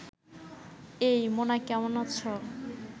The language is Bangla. এই, মুনা কেমন আছ